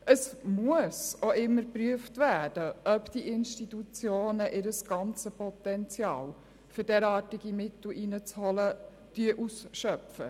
Es muss auch immer geprüft werden, ob die Institutionen ihr gesamtes Potenzial ausschöpfen, um Drittmittel einzuholen.